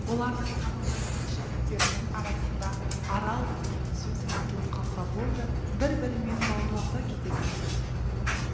олардың танымайтын жігіттерінің арасында арал деген сөз айтылып қалса болды бір бірімен бауырласа кететін